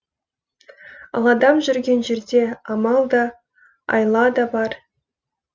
ал адам жүрген жерде амал да айла да бар